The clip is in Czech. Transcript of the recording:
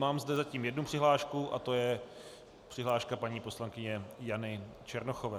Mám zde zatím jednu přihlášku a to je přihláška paní poslankyně Jany Černochové.